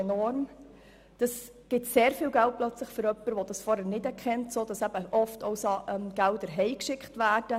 Für jemanden, der dies vorher nicht gekannt hat, gibt es plötzlich sehr viel Geld, sodass oft auch ein Teil davon nach Hause geschickt wird.